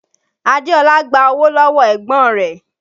Adeola gba owó lọ́wọ́ ẹ̀gbọ́n rẹ̀